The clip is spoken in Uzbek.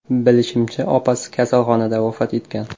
Bilishimcha, opasi kasalxonada vafot etgan.